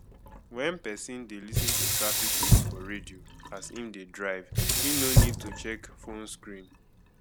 when person dey lis ten to traffic news for radio as im dey drive im no need to check phone screen